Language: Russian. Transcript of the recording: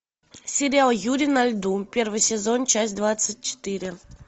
сериал юри на льду первый сезон часть двадцать четыре